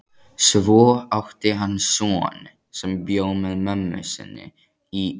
Svo átti hann son sem bjó með mömmu sinni í